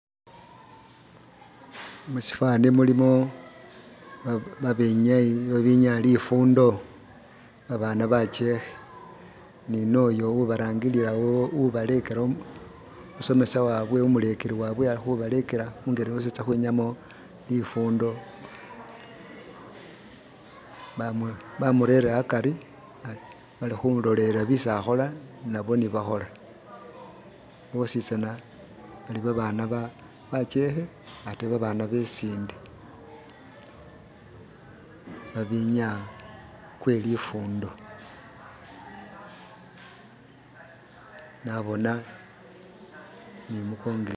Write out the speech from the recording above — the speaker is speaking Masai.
Mu shifani mulimo ba benyayi ba benyaya lifundo, ba bana bakyekhe ni noyo ubarangirilawo ubalekela umusomesa wabwe umulekeli wabwe ali khubalekela ingeli yesi batysa khukhwinyayamo lifundo ,bamurere akari bali khulolelela byesi akhola nabo nibakhola, bositsana bali babana bakyekhe ate ba baana besinde babenyaya kwe lifundo, nabona ni i mukongo.